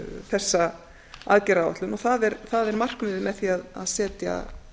þessa aðgerðaáætlun og það er markmiðið með því að setja